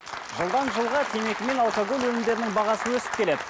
жылдан жылға темекі мен алкоголь өнімдерінің бағасы өсіп келеді